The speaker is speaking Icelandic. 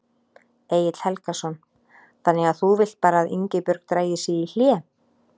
Egill Helgason: Þannig að þú vilt bara að Ingibjörg dragi sig í hlé?